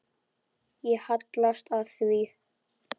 Ég hallast að því.